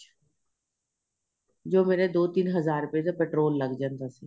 ਜੋ ਮੇਰੇ ਦੋ ਤਿੰਨ ਹਜ਼ਾਰ ਦਾ ਰੁਪਏ ਦਾ petrol ਲੱਗ ਜਾਂਦਾ ਸੀ